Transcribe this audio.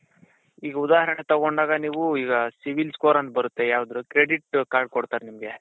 ಈಗ ಉದಾಹರಣೆ ತಗೊಂಡಾಗ ನೀವು ಈಗ CIBIL score ಅಂತ ಬರುತ್ತೆ ಯಾವ್ದು credit card ಕೊಡ್ತಾರ್ ನಿಮ್ಗೆ.